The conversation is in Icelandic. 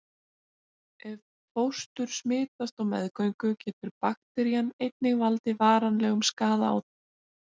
Ef fóstur smitast á meðgöngu getur bakterían einnig valdið varanlegum skaða á því.